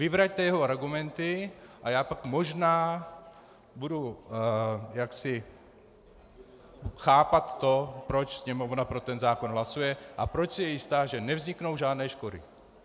Vyvraťte jeho argumenty, a já pak možná budu jaksi chápat to, proč Sněmovna pro ten zákon hlasuje a proč si je jistá, že nevzniknou žádné škody.